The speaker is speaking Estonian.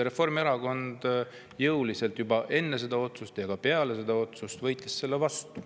Reformierakond võitles jõuliselt enne seda otsust ja ka peale seda otsust selle vastu.